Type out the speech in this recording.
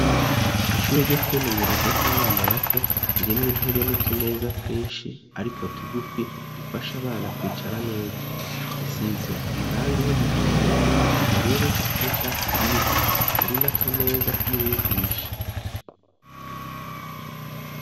Ishuri ryo kwimenyereza ry'abana bato ,ririmwo intebe n'utumeza twinshi, ariko tugufi dufasha abana kwicara neza ,zisize amarangi y'umuhondo, ubururu ,n'icatsi kibisi ,hari n'akameza k'umwigisha.